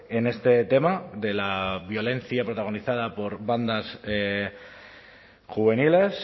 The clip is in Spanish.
en este tema de la violencia protagonizada por bandas juveniles